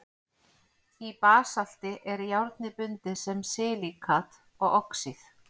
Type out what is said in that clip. í basalti er járnið bundið sem silíkat og oxíð